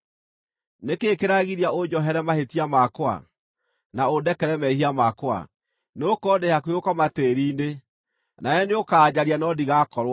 Nĩ kĩĩ kĩragiria ũnjohere mahĩtia makwa na ũndekere mehia makwa? Nĩgũkorwo ndĩ hakuhĩ gũkoma tĩĩri-inĩ; nawe nĩũkanjaria no ndigakorwo ho.”